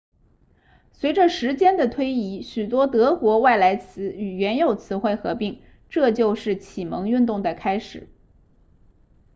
随着时间的推移许多德语外来词与原有词汇合并这就是启蒙运动的开始